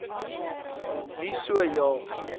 nie so ja